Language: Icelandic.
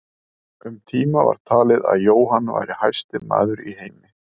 Um tíma var talið að Jóhann væri hæsti maður í heimi.